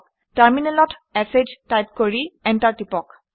টাৰমিনেলত শ টাইপ কৰি এণ্টাৰ টিপক